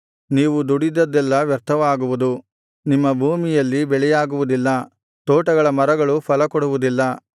ನೀವು ದುಡಿದದ್ದೆಲ್ಲಾ ವ್ಯರ್ಥವಾಗುವುದು ನಿಮ್ಮ ಭೂಮಿಯಲ್ಲಿ ಬೆಳೆಯಾಗುವುದಿಲ್ಲ ತೋಟಗಳ ಮರಗಳು ಫಲ ಕೊಡುವುದಿಲ್ಲ